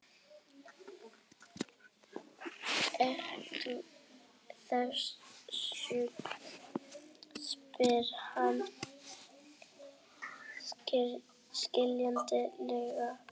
Ertu þýskur? spurði hann skyndilega.